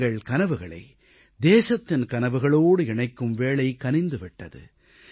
தங்கள் கனவுகளை தேசத்தின் கனவுகளோடு இணைக்கும் வேளை கனிந்து விட்டது